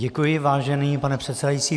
Děkuji, vážený pane předsedající.